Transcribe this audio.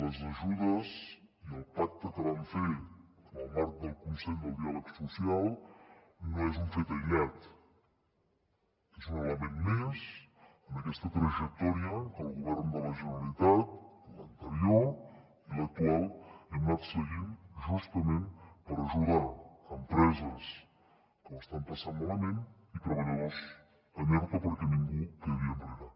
les ajudes i el pacte que vam fer en el marc del consell del diàleg social no és un fet aïllat és un element més en aquesta trajectòria que el govern de la generalitat l’anterior i l’actual hem anat seguint justament per ajudar empreses que ho estan passant malament i treballadors en erto perquè ningú quedi enrere